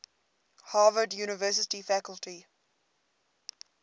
harvard university faculty